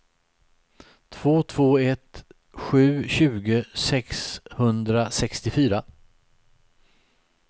två två ett sju tjugo sexhundrasextiofyra